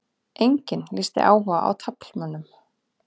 Enginn lýsti áhuga á taflmönnum